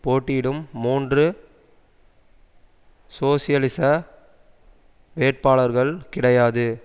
போட்டியிடும் மூன்று சோசியலிச வேட்பாளர்கள் கிடையாது